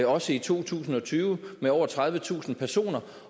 også i to tusind og tyve med over tredivetusind personer